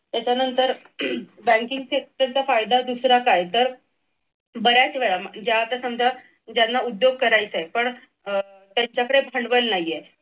त्याच्यानंतर banking sector चा फायदा दुसरा काय तर बऱ्याच वेळा ज्या आता समजा ज्यांना उद्योग करायचेत पण त्यांच्याकडे भांडवल नाहीये.